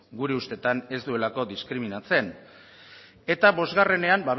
gure ustetan ez duelako diskriminatzen eta bosgarrenean